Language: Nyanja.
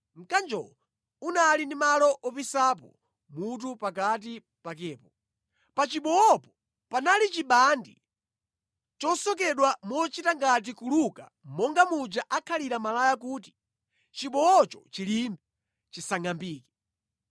Mkanjowo unali ndi malo opisapo mutu pakati pakepo. Pa chibowopo panali chibandi chosokedwa mochita ngati kuluka monga muja akhalira malaya kuti chibowocho chilimbe, chisangʼambike.